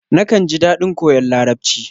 Nakan ji daɗin koyon Larabci.